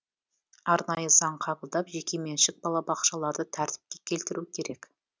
арнайы заң қабылдап жекеменшік балабақшаларды тәртіпке келтіру керек